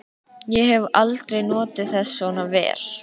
Ég hef aldrei notið þess svona vel.